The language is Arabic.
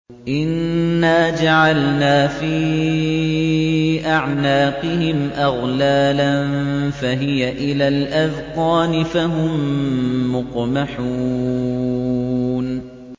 إِنَّا جَعَلْنَا فِي أَعْنَاقِهِمْ أَغْلَالًا فَهِيَ إِلَى الْأَذْقَانِ فَهُم مُّقْمَحُونَ